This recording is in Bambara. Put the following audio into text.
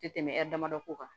Tɛ tɛmɛ a damadɔ ko kan